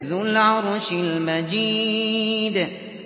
ذُو الْعَرْشِ الْمَجِيدُ